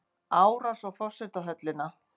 Árás á forsetahöllina